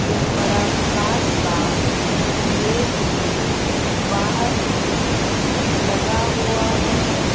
एक बड़ा कांच का गेट भी बाहर इसमें लगा हुआ है।